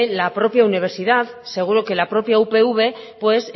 la propia universidad seguro que la propia upv pues